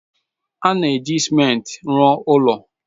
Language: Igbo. A na-eji ciment rụọ ụlọ.